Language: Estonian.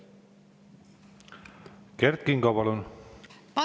Kert Kingo, palun!